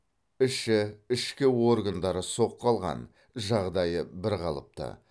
іші ішкі органдары соққы алған жағдайы бірқалыпты